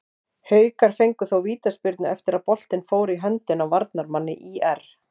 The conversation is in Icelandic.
Haukar fengu þó vítaspyrnu eftir að boltinn fór í höndina á varnarmanni ÍR.